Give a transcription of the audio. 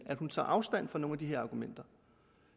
at hun tager afstand fra nogle af de her argumenter